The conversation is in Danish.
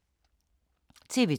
TV 2